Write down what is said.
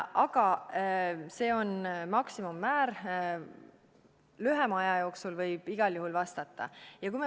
Aga see on maksimummäär, lühema aja jooksul võib igal juhul vastata.